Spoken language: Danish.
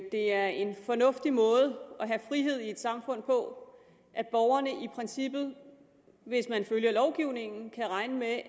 at det er en fornuftig måde at have frihed i et samfund på at borgerne i princippet hvis man følger lovgivningen kan regne med at